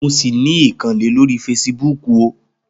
Mo sì ní ìkànnlé lórí feṣibúkù ó.